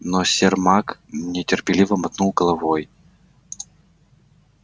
но сермак нетерпеливо мотнул головой